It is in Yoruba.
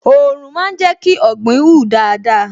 Òòrùn máa ń jẹ́ kí ọ̀gbìn hù dáadáa